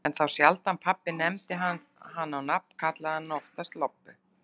En þá sjaldan pabbi nefndi hana á nafn, kallaði hann hana oftast Lobbu.